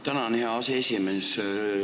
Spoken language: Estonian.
Tänan, hea aseesimees!